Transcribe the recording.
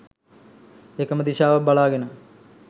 එකම දිශාවක් බලාගෙන